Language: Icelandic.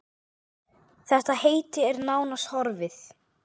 Þetta heiti er nánast horfið.